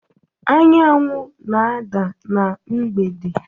Anyanwụ na-ada na mgbede